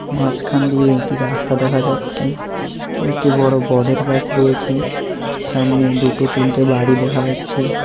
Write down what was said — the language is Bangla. মাঝখান দিয়ে একটি রাস্তা দেখা যাচ্ছে একটি বড় বটের গাছ রয়েছে সামনে দুটো তিনটে বাড়ি দেখা যাচ্ছে।